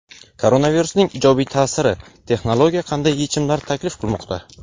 Koronavirusning ijobiy ta’siri: texnologiya qanday yechimlar taklif qilmoqda?.